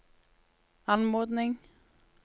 anmodning